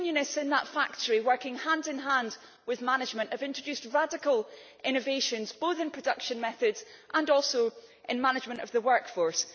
Trade unionists in that factory, working hand in hand with management, have introduced radical innovations, both in production methods and also in management of the workforce.